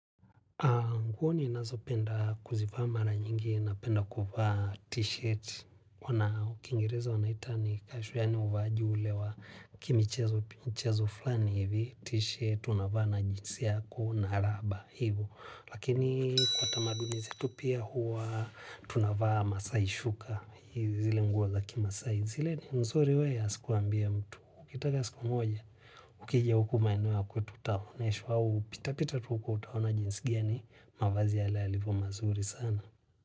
Nguo ninazo penda kuzivaa mara nyingi napenda kuvaa t-shirt. Na ukingireza wanaita ni casual yaani uvaaji ule wa kimichezo flani hivi t-shirt unavaa na jeans yako na raba hivo. Lakini kwa tamaduni zetu pia huwa tunavaa maasai shuka. Zile nguo za kimaasai. Zile ni nzuri we asikuambie mtu. Ukitaka siku moja, ukijia huku maeneo ya kwetu town huu, pitapita tu huko utaona jinsi gani, mavazi yale yalivyo mazuri sana.